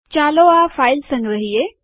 ચાલો આ ફાઈલ સંગ્રહીયે